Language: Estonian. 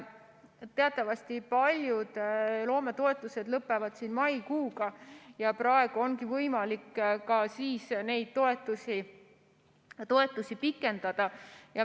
Teatavasti lõpevad paljud loometoetused maikuuga ja praegu ongi võimalik ka neid toetusi pikendada.